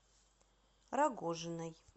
рогожиной